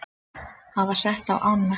hafa sett á ána.